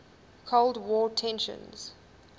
cold war tensions